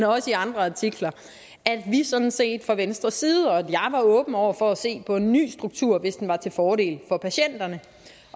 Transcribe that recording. også i andre artikler at vi sådan set fra venstres side var åbne over for at se på en ny struktur hvis den var til fordel for patienterne